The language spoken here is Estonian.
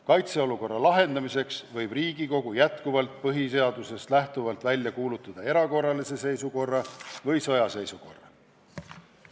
Kaitseolukorra lahendamiseks võib Riigikogu põhiseadusest lähtuvalt välja kuulutada erakorralise seisukorra või sõjaseisukorra.